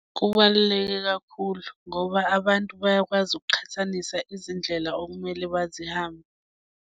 Kubaluleke kakhulu ngoba abantu bayakwazi ukuqhathanisa izindlela okumele bazihambe.